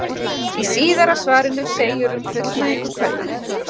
Í síðara svarinu segir um fullnægingu kvenna: